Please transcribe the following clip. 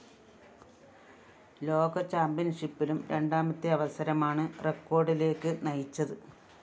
ലോക ചാമ്പ്യൻഷിപ്പിലും രണ്ടാമത്തെ അവസരമാണ് റെക്കോഡിലേക്കു നയിച്ചത്